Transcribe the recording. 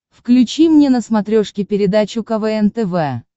включи мне на смотрешке передачу квн тв